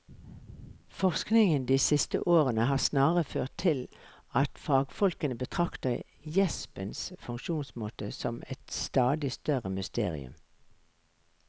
Forskningen de siste årene har snarere ført til at fagfolkene betrakter gjespens funksjonsmåte som et stadig større mysterium.